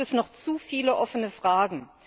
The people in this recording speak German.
Da gibt es noch zu viele offene Fragen.